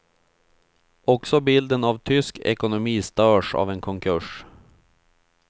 Också bilden av tysk ekonomi störs av en konkurs.